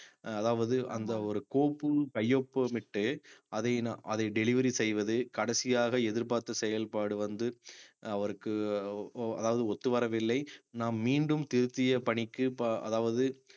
அதாவது அந்த ஒரு கோப்பு கையொப்பமிட்டு அதை நான் அதை delivery செய்வது கடைசியாக எதிர்பார்த்த செயல்பாடு வந்து அஹ் அவருக்கு அதாவது ஒத்துவரவில்லை நாம் மீண்டும் திருத்திய பணிக்கு ப~ அதாவது